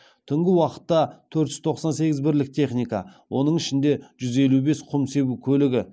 түнгі уақытта төрт жүз тоқсан сегіз бірлік техника оның ішінде жүз елу бес құм себу көлігі